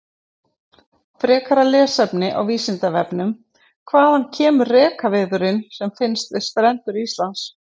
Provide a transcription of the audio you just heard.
Frekara lesefni á Vísindavefnum: Hvaðan kemur rekaviðurinn sem finnst við strendur Íslands?